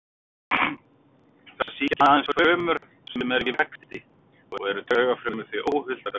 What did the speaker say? Þær sýkja aðeins frumur sem eru í vexti og eru taugafrumur því óhultar fyrir þeim.